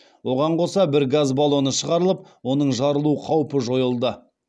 оған қоса бір газ баллоны шығарылып оның жарылу қаупі жойылды